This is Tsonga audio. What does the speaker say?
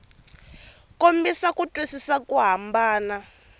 kombisa ku twisisa ku hambana